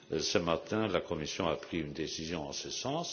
Ce matin, la Commission a pris une décision en ce sens.